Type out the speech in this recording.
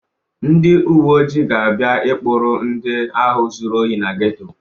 Ndị uwe ojii ga-abịa ịkpụrụ ndị ahụ zuru ohi na geto.